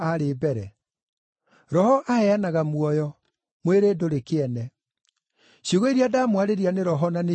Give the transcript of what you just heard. Roho aheanaga muoyo; mwĩrĩ ndũrĩ kĩene. Ciugo iria ndamwarĩria nĩ roho na nĩcio muoyo.